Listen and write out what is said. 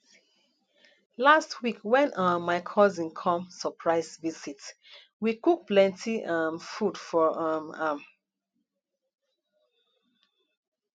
last week wen um my cousin come surprise visit we cook plenty um food for um am